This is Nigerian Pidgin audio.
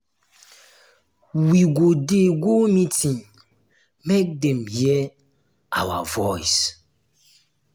we go dey go meeting make dem um dey um hear um our voice.